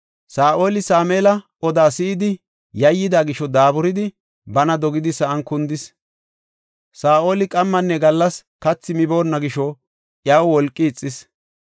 Saa7oli Sameela odaa si7idi yayyida gisho daaburidi, bana dogidi sa7an kundis. Saa7oli qammanne gallas kathi miboonna gisho iyaw wolqi ixis.